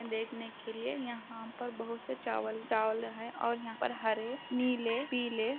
देखने के लिए यहा पर बहुत से चावल चावल है और यहा पर हरे नीले पीले --